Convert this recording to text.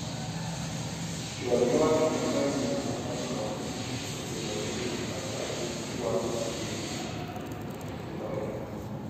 chwal ywak ne kambi safarikom kotenore gi kaka gichwalo tijegi e loya